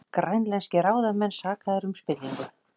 Grænlenskir ráðamenn sakaðir um spillingu